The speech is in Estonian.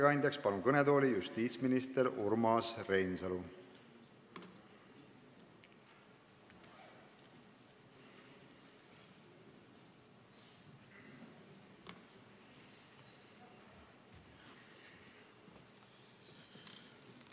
Palun ettekandeks kõnetooli justiitsminister Urmas Reinsalu!